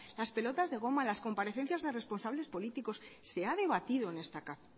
las pelotas de gomas las comparecencias de responsables políticos se ha debatido